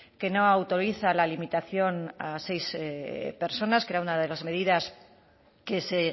que no autoriza la limitación a seis personas que era una de las medidas que se